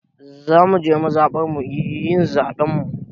Za mu je mazaɓarmu yin zaɓen mu.